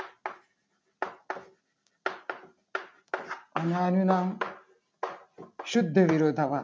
અને આનું નામ શુદ્ધ વિરોધાભાસ